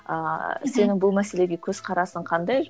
ааа сенің бұл мәселеге көзқарасың қандай